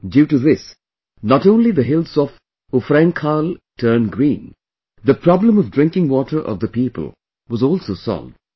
Due to this, not only the hills of Ufrainkhal turned green, but the problem of drinking water of the people was also solved